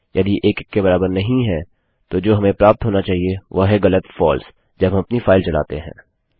यदि 1 1 के बराबर नहीं है तो जो हमें प्राप्त होना चाहिए वह है गलत फ़ाल्स जब हम अपनी फाइल चलाते हैं